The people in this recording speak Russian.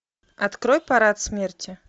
открой парад смерти